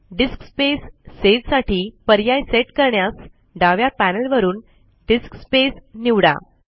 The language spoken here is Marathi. डिस्क स्पेस सेव साठी पर्याय सेट करण्यास डाव्या पॅनल वरून डिस्क स्पेस निवडा